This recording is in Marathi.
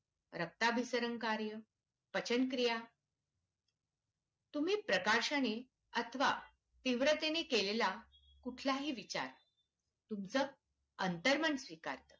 रक्ताभिसरणकार्य पचनक्रिया तुम्ही प्रकाशाने अथवा तीव्रतेने केलेला कुठला ही विचार तुमचं अंतर्मन स्वीकारते